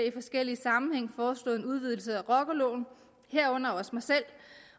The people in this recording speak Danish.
i forskellige sammenhænge foreslået en udvidelse af rockerloven